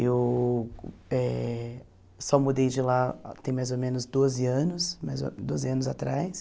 Eu eh só mudei de lá tem mais ou menos doze anos, mais ou doze anos atrás.